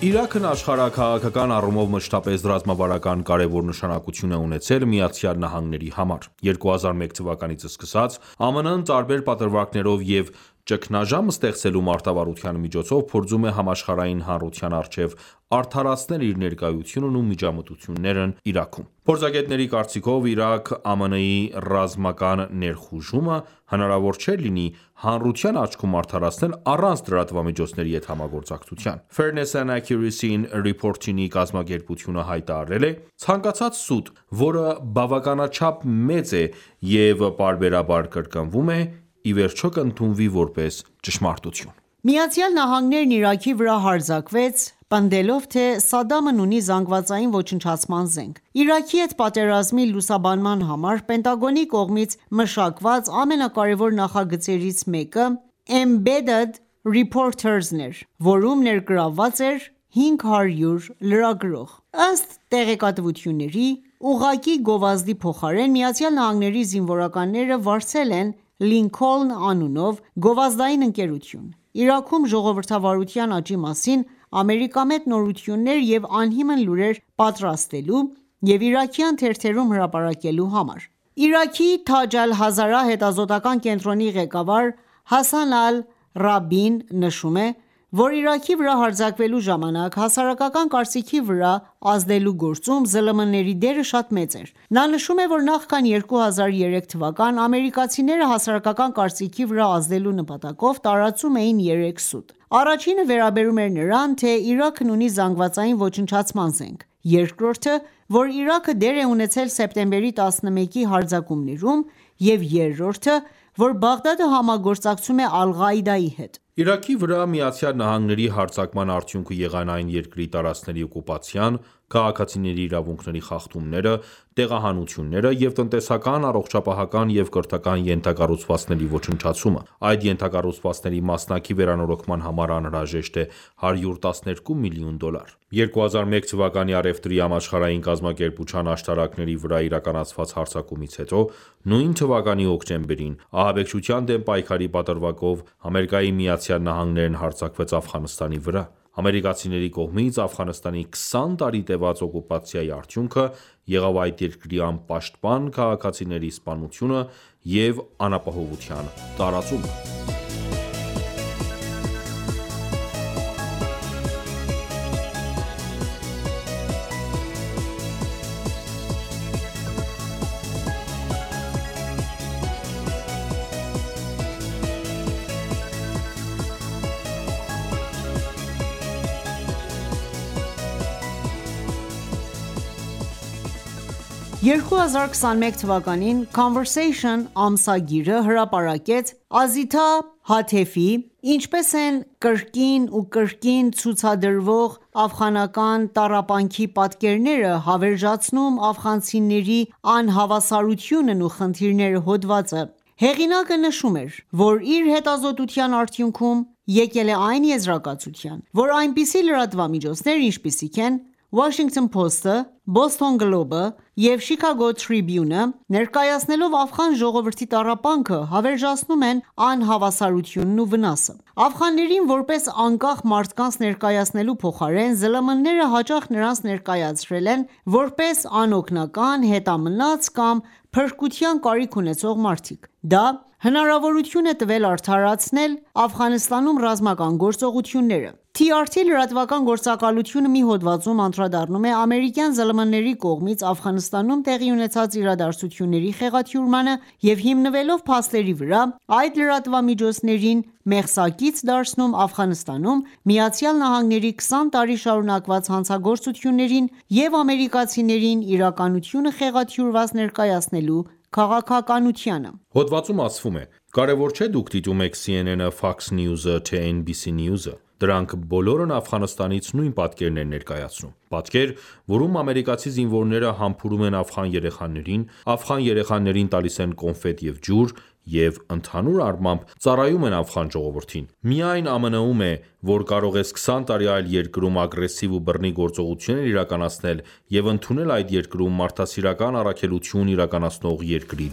Իրաքն աշխարհաքաղաքական առումով մշտապես ռազմավարական կարևոր նշանակություն է ունեցել ԱՄՆ-ի համար: 2001 թվականից սկսած, ԱՄՆ-ը տարբեր պատրվակներով և «ճգնաժամ ստեղծելու» մարտավարության միջոցով փորձում է համաշխարհային հանրության առջև արդարացնել իր ներկայությունն ու միջամտություններն Իրաքում: Փորձագետների կարծիքով, Իրաք ԱՄՆ-ի ռազմական ներխուժումը հնարավոր չէր լինի հանրության աչքում արադարացնել, առանց լրատվամիջոցների հետ համագործակցության: Fairness and Accuracy in Reportiny կազմակերպությունը հայտարարել է. «Ցանկացած սուտ, որը բավականաչափ մեծ է և պարբերաբար կրկնվում է, ի վերջո կընդունվի որպես ճշմարտություն»: ԱՄՆ-ն Իրաքի վրա հարձակվեց, պնդելով, թե Սադդամն ունի զանգվածային ոչնչացման զենք: Իրաքի հետ պատերազմի լուսաբանման համար Պենտագոնի կողմից մշակված ամենակարևոր նախագծերից մեկը Embedded Reporters-ն էր, որում ներգրավված էր 500 լրագրող։ Ըստ տեղեկությունների, ուղղակի գովազդի փոխարեն ԱՄՆ զինվորականները վարձել են «Լինքոլն» անունով գովազդային ընկերություն, Իրաքում ժողովրդավարության աճի մասին ամերիկամետ նորություններ և անհիմն լուրեր պատրաստելու և իրաքյան թերթերում հրապարակելու համար։ Իրաքի Թաջ Ալ-Հազարա հետազոտական կենտրոնի ղեկավար Հասան ալ-Ռաբիին նշում է, որ Իրաքի վրա հարձակվելու ժամանակ, հասարակական կարծիքի վրա ազդելու գործում ԶԼՄ-ների դերը շատ մեծ էր: Նա նշում է, որ նախքան 2003 թ. ամերկացիները հասարակական կարծիքի վրա ազդելու նպատակով տարածում էին երեք սուտ: Առաջինը վերաբերում էր նրան, թե Իրաքն ունի զանգվածային ոչնչացման զենք, երկրորդը՝ որ Իրաքը դեր է ունեցել սեպտեմբերի 11-ի հարձակումներում և երրորդը՝ որ Բաղդադը համագործակցում է Ալ-Ղաիդայի հետ: Իրաքի վրա ԱՄՆ-ի հարձակման արդյունքը եղան այդ երկրի տարածքների օկուպացիան, քաղաքացիների իրավունքների խախտումները, տեղահանությունները և տնտեսական, առողջապահական և կրթական ենթակառուցվածքների ոչնչացումը: Այդ ենթակառուցվածքների մասնակի վերանորոգման համար անհրաժեշտ է 112 միլիոն դոլար: 2001 թ. Առևտրի համաշխարհային կազմակերպության աշտարակների վրա իրականացված հարձակումից հետո, նույն թվականի հոկտեմբերին, ահաբեկչության դեմ պայքարի պատրվակով, ԱՄՆ-ն հարձակվեց Աֆղանստանի վրա: Ամերիկացիների կողմից Աֆղանստանի 20 տարի տևած օկուպացիայի արդյունքը եղավ այդ երկրի անպաշտպան քաղաքացիների սպանությունը և անապահովության տարածումը: 2021թ. Conversation ամսագիրը հրապարակեց Ազիթա Հաթեֆի «Ինչպես են կրկին ու կրկին ցուցադրվող աֆղանական տառապանքի պատկերները հավերժացնում աֆղանցիների անհավասարությունն ու խնդիրները» հոդվածը: Հեղինակը նշում էր, որ իր հետազոտության արդյունքում եկել է այն եզրակացության, որ այնպիսի լրատվամիջոցներ, ինչպիսիք են Washington Post-ը, Boston Globe-ը և Chicago Tribune-ը, ներկայացնելով աֆղան ժողովրդի տառապանքը, հավերժացնում են անհավասարությունն ու վնասը: Աֆղաններին որպես անկախ մարդկանց ներկայացնելու փոխարեն, ԶԼՄ-ները հաճախ նրանց ներկայարել են որպես անօգնական, հետամնաց կամ փրկության կարիք ունեցող մարդիկ: Դա հնարավորություն է տվել արդարացնել Աֆղանստանում ռազմական գործողությունները: TRT լրատվական գործակալությունը մի հոդվածում անդրադառնում է ամերիկյան ԶԼՄ-ների կողմից Աֆղանստանում տեղի ունեցած իրադարձությունների խեղաթյուրմանը և հիմնվելով փաստերի վրա, այդ լրատվամիջոցներին մեղսակից դարձնում Աֆղանստանում ԱՄՆ-ի 20 տարի շարունակված հանցագործություններին և ամերիկացիներին իրականությունը խեղաթյուրված ներկայացնելու քաղաքականությանը: Հոդվածում ասվում է. «Կարևոր չէ՝ դուք դիտում եք CNN-ը, Fox News-ը, թե NBC News-ը, դրանք բոլորն Աֆղանստանից նույն պատկերն են ներկայացնում: Պատկեր, որում ամերիկացի զինվորները համբուրում են աֆղան երեխաներին, աֆղան երեխաներին տալիս են կոնֆետ և ջուր և, ընդհանուր առմամբ, ծառայում են աֆղան ժողովրդին: Միայն ԱՄՆ-ում է, որ կարող ես 20 տարի այլ երկրում ագրեսիվ ու բռնի գործողություններ իրականացնել և ընդունել այդ երկրում մարդասիրական առաքելություն իրականացնող երկրի